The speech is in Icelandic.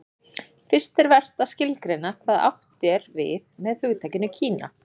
fyrst er vert að skilgreina hvað átt er við með hugtakinu kína